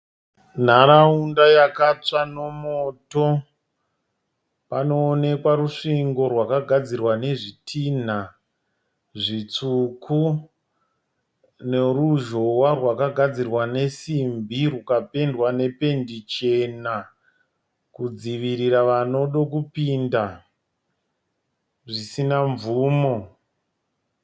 Nharaunda yakatsva nomoto. Panoonekwa rusvingo rwakagadzirwa nezvitinha zvitsvuku neruzhowa rwakagadzirwa nesimbi rukapendwa nependi chena kudzivirira vanoda kupinda zvisina mvumo.